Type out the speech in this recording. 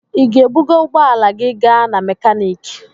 Ị ga-ebuga ụgbọ ala gị gaa n'mekaniki?